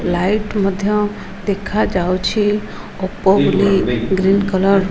light ମଧ୍ୟ ଦେଖା ଯାଉଛି ଉପୋ ବୋଲି ଗ୍ରୀନ କଲର --